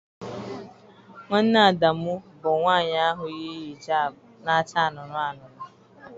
Nwanne Adamu bụ nwanyị ahụ yi hijab na-acha anụnụ anụnụ.